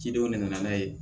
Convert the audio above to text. Cidenw de nana n'a ye